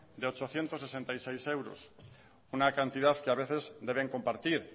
de ochocientos sesenta y seis euros una cantidad que a veces deben compartir